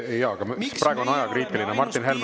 Praegu on ajakriitiline, Martin Helme.